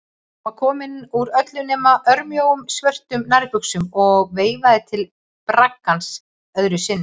Hún var komin úr öllu nema örmjóum, svörtum nærbuxum og veifaði til braggans öðru sinni.